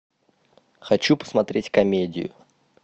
хочу посмотреть комедию